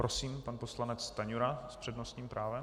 Prosím, pan poslanec Stanjura s přednostním právem.